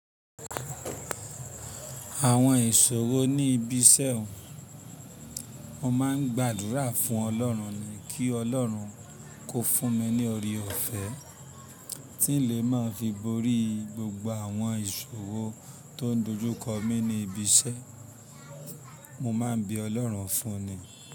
Àwọn ìṣòro ní ibi iṣẹ́ ọ̀, mo máa ń gbàdúrà fún Ọlọ́run ni kí Ọlọ́run kó fún mi ní oore ọ̀fẹ́ tí n lè máa fi borí gbogbo àwọn ìṣòro tó ń dojú kọ mí ní ibi iṣẹ́, mo máa ń bí Ọlọ́run fún ni.